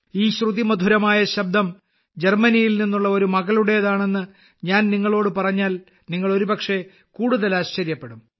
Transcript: ഈ ശ്രുതിമധുരമായ ശബ്ദം ജർമനിയിൽ നിന്നുള്ള ഒരു മകളുടെതാണെന്ന് ഞാൻ നിങ്ങളോട് പറഞ്ഞാൽ നിങ്ങൾ ഒരുപക്ഷേ കൂടുതൽ ആശ്ചര്യപ്പെടും